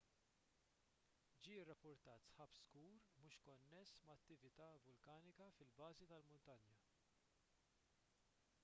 ġie rrappurtat sħab skur mhux konness ma' attività vulkanika fil-bażi tal-muntanja